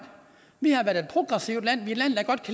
vi har været et progressivt land